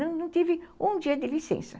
Não tive um dia de licença.